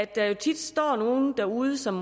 der jo står andre derude som